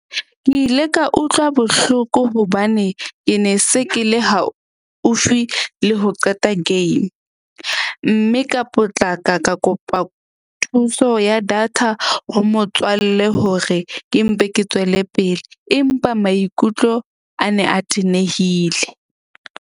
Ke ile ka utlwa bohloko hobane ke ne se ke le haufi le ho qeta game. Mme ka potlaka ka kopa thuso ya data ho motswalle hore ke mpe ke tswele pele. Empa maikutlo a ne a tenehile.